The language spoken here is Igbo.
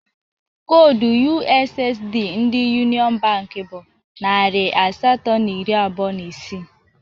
Koodu ussd ndi Yuniọn bank bụ narị asatọ na iri abụọ na isii